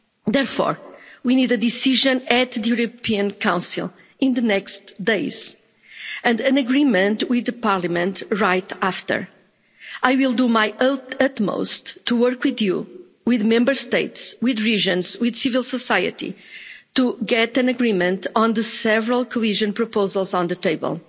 Therefore, we need a decision at the European Council in the next few days and an agreement with Parliament right after. I will do my utmost to work with you, with the Member States, with regions, with civil society, to get an agreement on the several cohesion proposals on the table.